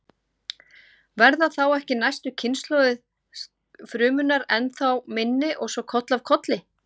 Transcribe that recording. Verða þá ekki næstu kynslóðir frumunnar ennþá minni og svo koll af kolli?